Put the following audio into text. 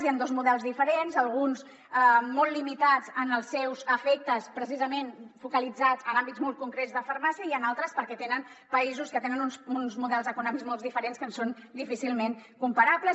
hi han dos models diferents alguns molt limitats en els seus efectes precisament focalitzats en àmbits molt concrets de farmàcia i en altres perquè tenen països que tenen uns models econòmics molt diferents que ens són difícilment comparables